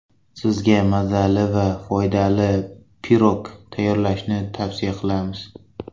Sizga mazali va foydali pirog tayyorlashni tavsiya qilamiz.